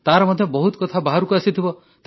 ତାର ମଧ୍ୟ ବହୁତ କଥା ବାହାରକୁ ଆସିଥିବ